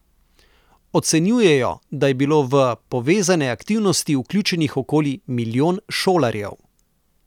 Ocenjujejo, da je bilo v povezane aktivnosti vključenih okoli milijon šolarjev.